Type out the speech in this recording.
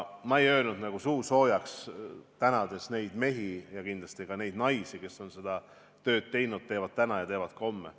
Ma ei tänanud suusoojaks neid mehi ja kindlasti ka neid naisi, kes on seda tööd teinud, teevad täna ja teevad ka homme.